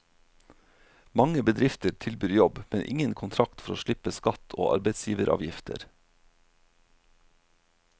Mange bedrifter tilbyr jobb, men ingen kontrakt for å slippe skatt og arbeidsgiveravgifter.